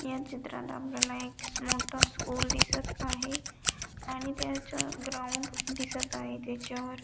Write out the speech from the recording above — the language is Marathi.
या चित्रात आपल्याला एक मोठा स्कूल दिसत आहे आणि त्याच्या ग्राउंड दिसत आहे त्याच्या वर--